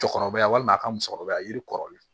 Cɛkɔrɔba walima a ka musokɔrɔba yiri kɔrɔlen